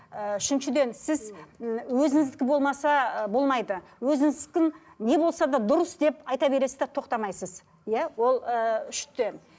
ыыы үшіншіден сіз м өзіңіздікі болмаса ы болмайды өзіңіздікін не болса да дұрыс деп айта бересіз де тоқтамайсыз иә ол ыыы үште